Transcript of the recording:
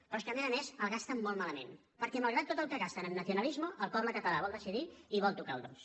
però és que a més a més el gasten molt malament perquè malgrat tot el que gasten en nacionalismovol decidir i vol tocar el dos